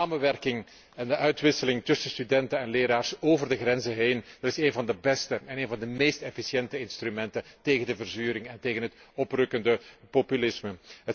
De samenwerking en de uitwisseling tussen studenten en leraren over de grenzen heen is een van de beste en een van de meest efficiënte instrumenten tegen de verzuring en tegen het oprukkende populisme.